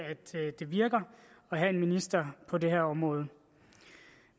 det virker at have en minister på det her område